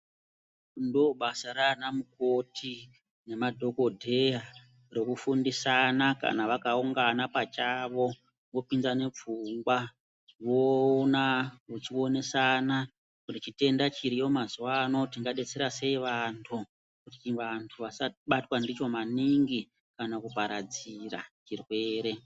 Ndoo basa raana mukoti nemadhokodheya rokufundisana kana vakaungana pachavo vopindane pfungwa voona vechionesana kuti chitenda chiriyo mazwa ano tingadetsera sei vantu vasabatwa ndicho maningi kana kuparadzira zvirwere.